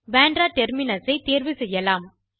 பந்திரா Terminusஐ தேர்வு செய்யலாம்